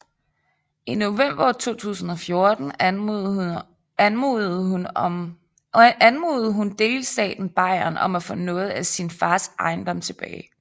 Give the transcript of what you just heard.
I november 2014 anmodede hun delstaten Bayern om at få noget af sin fars ejendom tilbage